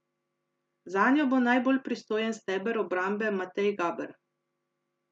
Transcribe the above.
Zanjo bo najbolj pristojen steber obrambe Matej Gaber.